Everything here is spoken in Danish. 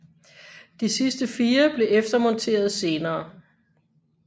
De sidste fire blev eftermonteret senere